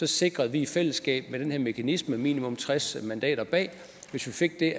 sikrede vi i fællesskab med den her mekanisme minimum tres mandater bag og hvis vi fik det